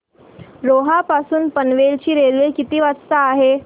रोहा पासून पनवेल ची रेल्वे किती वाजता आहे